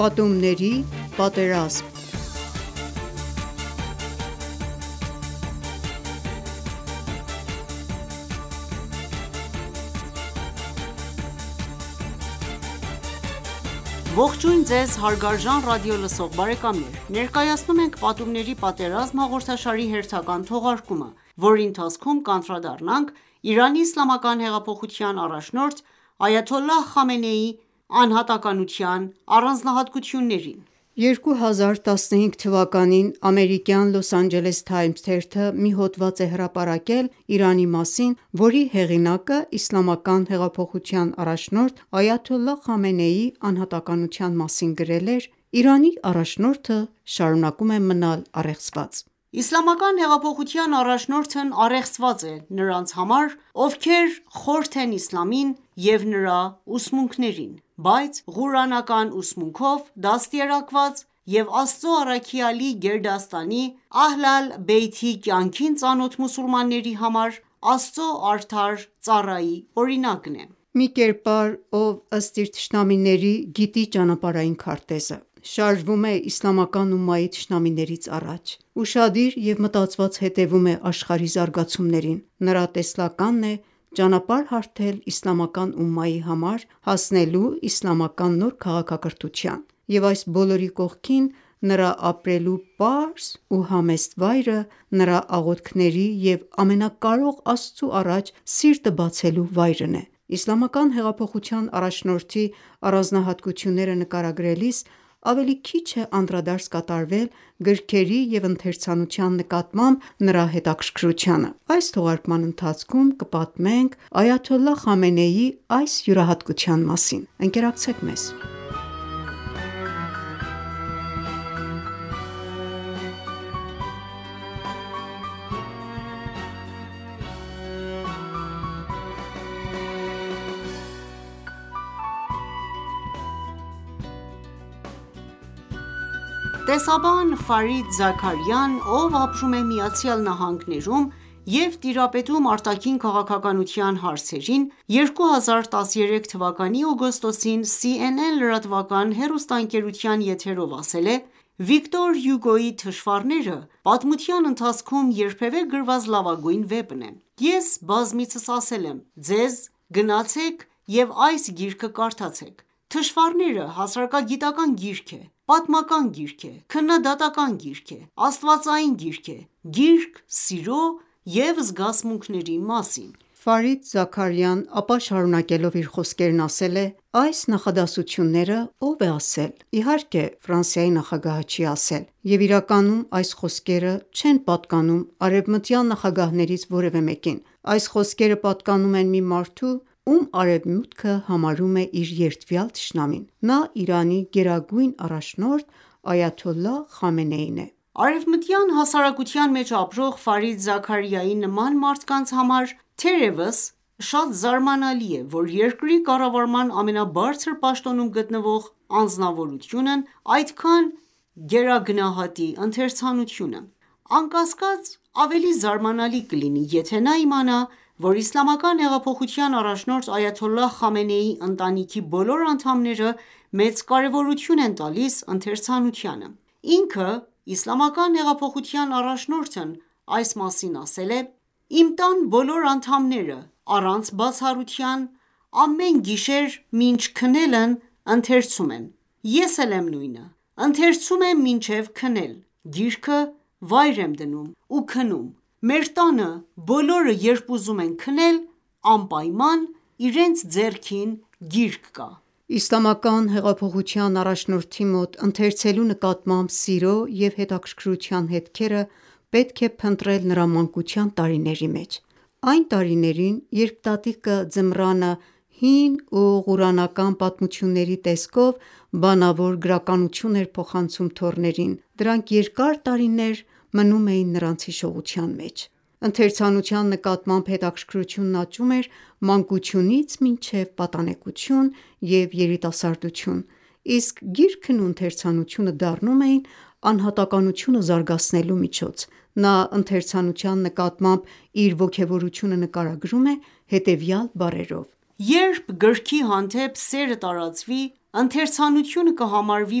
Պատումների պատերազմ (11) Ողջույն ձեզ հարգարժան ռադիոլսող բարեկամներ: Ներկայացնում ենք «Պատումների պատերազմ» հաղորդաշարի հերթական թողարկումը, որի ընթացքում կանդրադառնանք Իրանի իսլամական հեղափոխության առաջնորդ Այաթոլլահ Խամենեիի անհատակության առանձնահատկություններին: 2015 թվականին ամերիկյան Los Angeles Times թերթը մի հոդված է հրապարակել Իրանի մասին, որի հեղինակը Իսլամական հեղափոխության առաջնորդ Այաթոլլահ Խամենեիի անհատականության մասին գրել էր,-«Իրանի առաջնորդը շարունակում է մնալ առեղծված»։ Իսլամական հեղափոխության առաջնորդն առեղծված է նրանց համար, ովքեր խորթ են իսլամին և նրա ուսմունքներին, բայց Ղուրանական ուսմունքով դաստիարակված և Աստծո առաքյալի գերդաստանի՝ Ահլ ալ-Բեյթի կյանքին ծանոթ մուսուլմանների համար Աստծո արդար ծառայի օրինակ է: Մի կերպար, ով, ըստ իր թշնամիների, գիտի ճանապարհային քարտեզը, շարժվում է իսլամական ումմայի թշնամիներից առաջ, ուշադիր և մտածված հետևում է աշխարհի զարգացումներին, նրա տեսլականն է ճանապարհ հարթել իսլամական ումմայի համար՝ հասնելու իսլամական նոր քաղաքակրթության և այս բոլորի կողքին նրա ապրելու պարզ ու համեստ վայրը, նրա աղոթքների և ամենակարող Աստծու առաջ սիրտը բացելու վայրն է։ Իսլամական հեղափոխության առաջնորդի առանձնահատկությունները նկարագրելիս ավելի քիչ է անդրադարձ կատարվել գրքերի և ընթերցանության նկատմամբ նրա հետաքրքրությանը: Այս թողարկման ընթացքում կպատմենք Այաթոլլահ Խամենեիի այս յուրահատկության մասին:Ընկերակցեք մեզ: Տեսաբան Ֆարիդ Զաքարիան ,ով ապրում է ԱՄՆ-ում և տիրապետում արտաքին քաղաքականության հարցերին, 2013 թվականի օգոստոսին CNN լրատվական հեռուստաընկերության եթերով ասել է․«Վիկտոր Հյուգոյի «Թշվառները» պատմության ընթացքում երբևէ գրված լավագույն վեպն է։ Ես բազմիցս ասել եմ, ձեզ՝ գնացեք և այս գիրքը կարդացեք, «Թշվառները» հասարակագիտական գիրք է, պատմական գիրք է, քննադատական գիրք է, աստվածային գիրք է, գիրք սիրո և զգացմունքների մասին»: Ֆարիդ Զաքարիան ապա շարունակելով իր խոսքերն ասել է,-«Այս նախադասությունները ո՞վ է ասել: Իհարկե Ֆրանսիայի նախագահը չի ասել, և իրականում այս խոսքերը չեն պատկանում արևմտյան նախագահներից որևէ մեկին, այս խոսքերը պատկանում են մի մարդու, ում Արևմուտքը համարում է իր երդվյալ թշնամին: Նա Իրանի գերագույն առաջնորդ Այաթոլլահ Խամենեին է»։ Արևմտյան հասարակության մեջ ապրող Ֆարիդ Զաքարիայի նման մարդկանց համար, թերևս, շատ զարմանալի է, որ երկրի կառավարման ամենաբարձր պաշտոնում գտնվող անձնավորությունն այդքան գերագնահատի ընթերցանությունը։ Անկասկած, ավելի զարմանալի կլինի, եթե նա իմանա, որ Իսլամական հեղափոխության առաջնորդ Այաթոլլահ Խամենեիի ընտանիքի բոլոր անդամները մեծ կարևորություն են տալիս ընթերցանությանը: Ինքը՝ Իսլամական հեղափոխության առաջնորդն այս մասին ասել է.«Իմ տան բոլոր անդամները, առանց բացառության, ամեն գիշեր մինչ քնելն ընթերցում են։ Ես էլ եմ նույնը...ընթերցում եմ մինչև քնեմ, գիրքը վայր եմ դնում ու քնում։ Մեր տանը բոլորը, երբ ուզում են քնել, անպայման իրենց ձեռքին գիրք կա»։ Իսլամական հեղափոխության առաջնորդի մոտ ընթերցելու նկատմամբ սիրո ու հետաքրքրության հետքերը պետք է փնտրել նրա մանկության տարիների մեջ։ Այն տարիներին, երբ տատիկը ձմռանը հին ու Ղուրանական պատմությունների տեսքով բանավոր գրականություն էր փոխանցում թոռներին, դրանք երկար տարիներ մնում էր նրանց հիշողության մեջ։ Ընթերցանության նկատմամբ հետաքրքրությունն աճում էր մանկությունից մինչև պատանեկություն և երիտասարդություն, իսկ գիրքն ու ընթերցանությունը դառնում էին անհատականությունը զարգացնելու միջոց։ Նա ընթերցանության նկատմամբ իր ոգևորությունը նկարագրում է հետևյալ բառերով. «Երբ գրքի հանդեպ սերը տարածվի, ընթերցանկությունը կհամարվի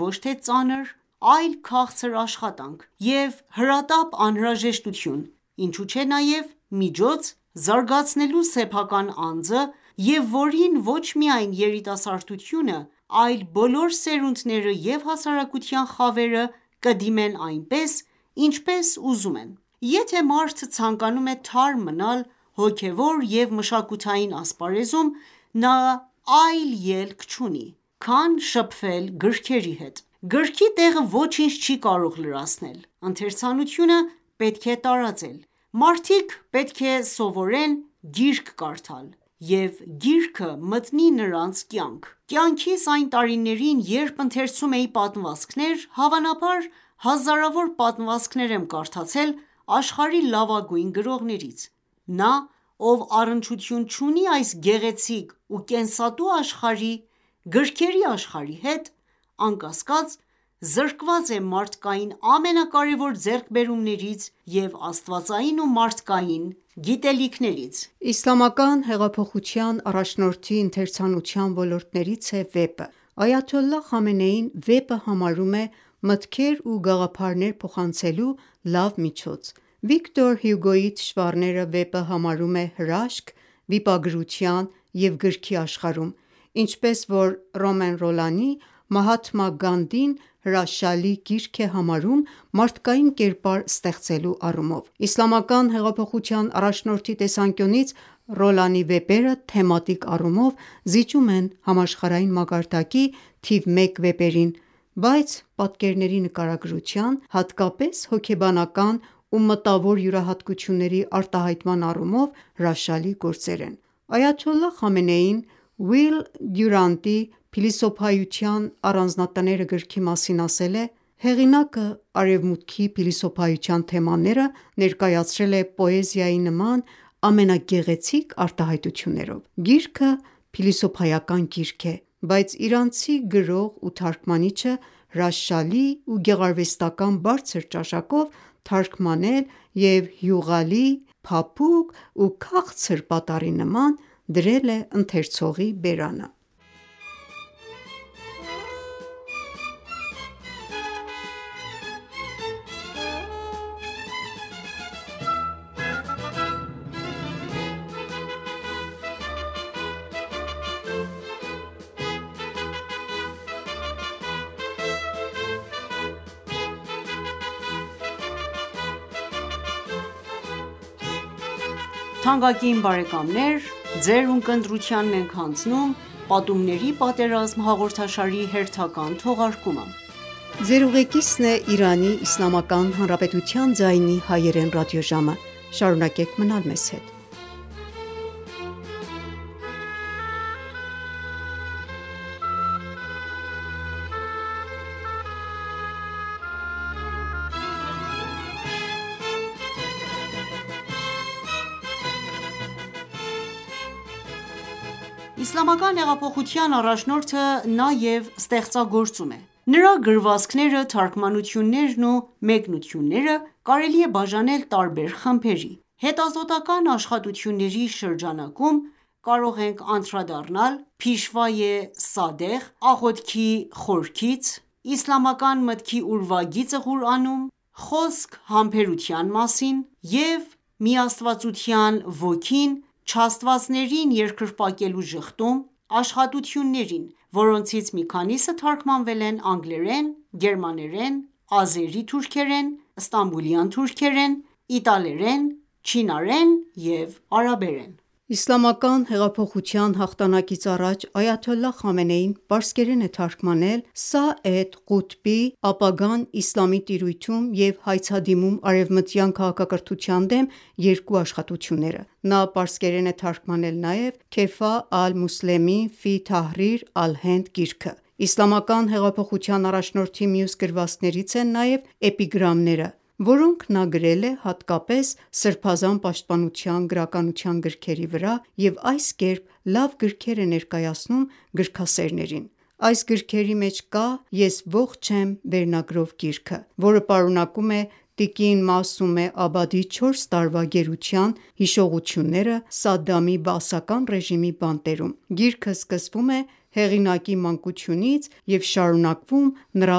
ոչ թե ծանր, այլ քաղցր աշխատանք և հրատապ անհրաժեշտություն, ինչու չէ նաև միջոց՝ զարգացնելու սեփական անձը և որին ոչ միայն երիտասարդությունը, այլ բոլոր սերունդները և հասարակության խավերը կդիմեն այնպես, ինչպես ուզում են: Եթե մարդ ցանկանում է թարմ մնալ հոգևոր և մշակութային ասպարեզում, նա այլ ելք չունի, քան շփվել գրքերի հետ: Գրքի տեղը ոչինչ չի կարող լրացնել, ընթերցանությունը պետք է տարածել... Մարդիկ պետք է սովորեն գիրք կարդալ, և գիրքը մտնի նրանց կյանք։ Կյանքիս այն տարիներին, երբ ընթերցում էի պատմվածքներ, հավանաբար հազարավոր պատմվածքներ եմ կարդացել աշխարհի լավագույն գրողներից։ Նա, ով առնչություն չունի այս գեղեցիկ ու կենսատու աշխարհի՝ գրքերի աշխարհի հետ, անկասկած, զրկված է մարդկային ամենակարեւոր ձեռքբերումներից եւ աստվածային ու մարդկային գիտելիքից»։ Իսլամական հեղափոխության առաջնորդի ընթերցանության ոլորտներից է վեպը։ Այաթոլլահ Խամենեին վեպը համարում է մտքեր ու գաղափարներ փոխանցելու լավ միջոց։ Վիկտոր Հյուգոյի «Թշվառները»վեպը համարում է հրաշք վիպագրության և գրքի աշխարհում, ինչպես որ Ռոմեն Ռոլանի «Մահաթմա Գանդին» հրաշալի գիրք է համարում մարդկային կերպար ստեղծելու առումով։ Իսլամական հեղափոխության առաջնորդի տեսանկյունից Ռոլանի վեպերը թեմատիկ առումով զիջում են համաշխարհային մակարդակի թիվ մեկ վեպերին, բայց պատկերների նկարագրության, հատկապես հոգեբանական ու մտավոր յուրահատկությունների արտահայտման առումով հրաշալի գործեր են։ Այաթոլլահ Խամենեին՝ Ուիլ Դյուրանտի «Փիլիսոփայության առանձնատները» գրքի մասին, ասել է, -«Հեղինակը Արևմուտքի փիլիսոփայական թեմաները ներկայացրել է պոեզիայի նման ամենագեղեցիկ արտահայտություններով... Գիրքը փիլիսոփայական գիրք է, բայց իրանցի գրող ու թարգմանիչը հրաշալի ու գեղարվեստական բարձր ճաշակով թարգմանել և յուղալի, փափուկ ու քաղցր պատառի նման դրել է ընթերցողի բերանը»։ Իսլամական հեղափոխության առաջնորդը նաև ստեղծագործում է: Նրա գրվածքները, թարգմանություններն ու մեկնությունները կարելի է բաժանել տարբեր խմբերի։ Հետազոտական աշխատությունների շրջանակում կարող ենք անդրադառնալ «Փիշվայե Սադեղ»,(թարգ. Ազնիվ առաջնորդ) «Աղոթքի խորքից», «Իսլամական մտքի ուրվագիծը Ղուրանում», «Խոսք համբերության մասին» և «Միաստվածության ոգին, չաստվածներին երկրպագելու ժխտում» աշխատություններին, որոնցից մի քանիսը թարգմանվել են անգլերեն, գերմաներեն, ազերի թուրքերեն, ստամբուլյան թուրքերեն, իտալերեն, չինարեն և արաբերեն: Իսլամական հեղափոխության հաղթանակից առաջ այաթոլլահ Խամենեին պարսկերեն է թարգմանել Սայեդ Ղութբի «Ապագան իսլամի տիրույթում» և «Հայցադիմում արևմտյան քաղաքակրթության դեմ» երկու աշխատությունները։ Նա պարսկերեն է թարգմանել նաև «Քեֆահ ալ-Մուսլեմին ֆի Թահրիր Ալ-Հենդ» գիրքը։ Իսլամական հեղափոխության առաջնորդի մյուս գրվածքներից են նրա էպիգրամները, որոնք նա գրել է հատկապես սրբազան պաշտպանության գրականության գրքերի վրա, և այս կերպ լավ գրքեր է ներկայացնում գրքասերներին։ Այս գրքերի մեջ կա «Ես ողջ եմ» վերնագրով գիրքը, որը պարունակում է տիկին Մասումե Աբադի չորս տարվա գերության հիշողությունները Սադդամի բաասական ռեժիմի բանտերում։ Գիրքը սկսվում է հեղինակի մանկությունից և շարունակվում նրա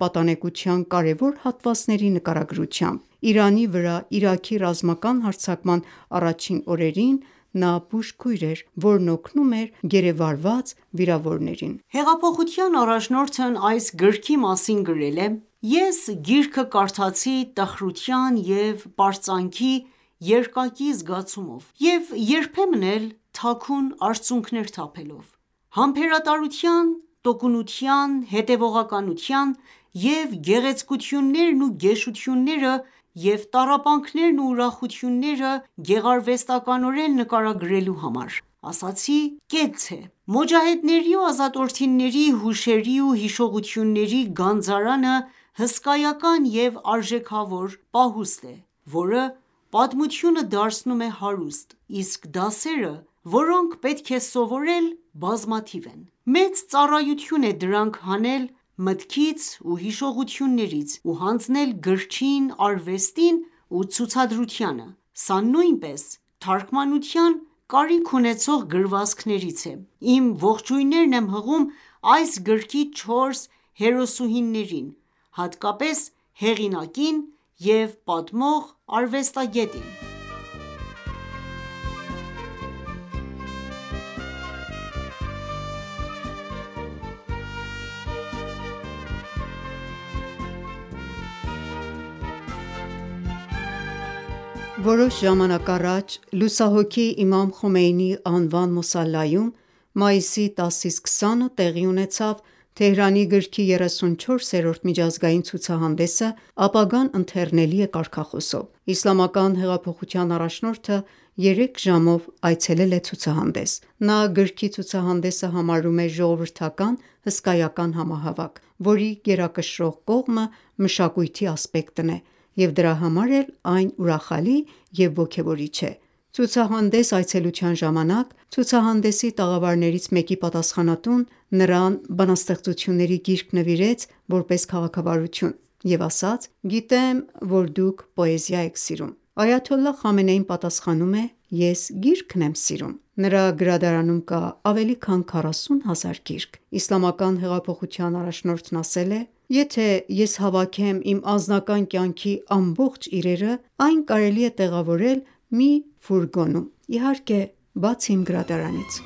պատանեկության կարևոր հատվածների նկարագրությամբ։ Իրանի վրա Իրաքի ռազմական հարձակման առաջին օրերին նա բուժքույր էր, որն օգնում էր գերեվարված վիրավորներին: Հեղափոխության առաջնորդն այս գրքի մասին գրել է. «Ես գիրքը կարդացի տխրության և պարծանքի երկակի զգացումով և երբեմն էլ թաքուն արցունքներ թափելով: Համբերատարության, տոկունության, հետևողականության և գեղեցկություններն ու գեշությունենրը և տառապանքներն ու ուրախությունները գեղարվեստորեն նկարագրելու համար, ասացի կեցցե: Մոջահեդների և ազատորդիների հուշերի ու հիշողությունների գանձարանը հսկայական և արժեքավոր պահուստ է, որը պատմությունը դարձնում է հարուստ, իսկ դասերը, որոնք պետք է սովորել՝ բազմաթիվ են: Մեծ ծառայություն է դրանք հանել մտքից ու հիշողություններից ու հանձնել գրչին, արվեստին ու ցուցադրությանը։ Սա նույնպես թարգմանության կարիք ունեցող գրվածքներից է։ Իմ ողջույններն եմ հղում այս գրքի չորս հերոսուհիներին, հատկապես հեղինակին և պատմող արվեստագետին»: Որոշ ժամանակ առաջ լուսահոգի Իմամ Խոմեյնիի անվան մոսալայում մայիսի 10-20-ը տեղի ունեցավ Թեհրանի գրքի 34-րդ միջազգային ցուցահանդեսը՝ «Ապագան ընթեռնելի է» կարգախոսով։ Իսլամական հեղափոխության առաջնորդը երեք ժամով այցելել է ցուցահանդես։ Նա գրքի ցուցահանդեսը համարում է ժողովրդական հսկայական համահավաք, որի գերակշռող կողմը մշակույթի ասպեկտն է, և դրա համար էլ այն ուրախալի է և ոգևորիչ։ Ցուցահանդես այցելության ժամանակ ցուցահանդեսի տաղավարներից մեկի պատասխանատուն նրան բանաստեղծությունների գիրք նվիրեց որպես քաղաքավարություն և ասաց. «Գիտեմ, որ դուք պոեզիա եք սիրում»: Այաթոլլահ Խամենեին պատասխանել է. «Ես գիրքն եմ սիրում եմ»: Նրա գրադարանում կա ավելի քան 40 հազար գիրք։ Իսլամական հեղափոխության առաջնորդն ասել է.-«Եթե ես հավաքեմ իմ անձնական կյանքի ամբողջ իրերը, այն կարելի է տեղավորել մի ֆուրգոնում, իհարկե, բացի իմ գրադարանից»: